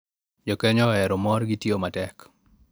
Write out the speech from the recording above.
Jo Kenya ohero mor, gitiyo matek,